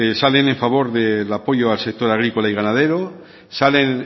salen en favor al sector agrícola y ganadero salen